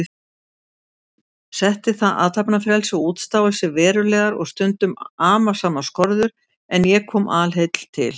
Setti það athafnafrelsi og útstáelsi verulegar og stundum amasamar skorður, en ég kom alheill til